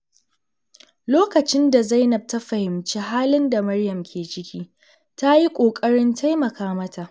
Lokacin da Zainab ta fahimci halin da Maryam ke ciki, ta yi ƙoƙarin taimaka mata.